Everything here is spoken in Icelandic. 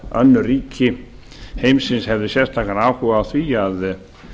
önnur ríki heimsins hefðu sérstakan áhuga á því að